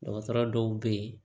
Dɔgɔtɔrɔ dɔw bɛ yen